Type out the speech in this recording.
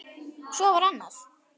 Svo var annað.